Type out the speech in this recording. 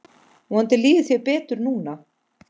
Vonandi líður þér betur núna.